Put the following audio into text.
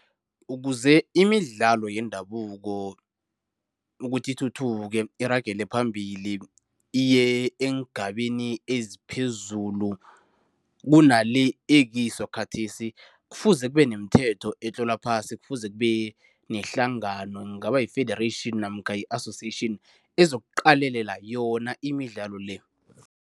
Ukuze imidlalo yendabuko ukuthi ithuthuke, iragele phambili, iye eengabeni eziphezulu kunale ekiso khathesi, kufuze kube nemithetho etlolwa phasi, kufuze kube nehlangano, kungaba yi-federation namkha i-association ezokuqalelela yona imidlalo le.